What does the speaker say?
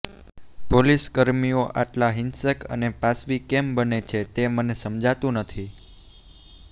પોલીસકર્મીઓ આટલા હિંસક અને પાશવી કેમ બને છે તે મને સમજાતું નથી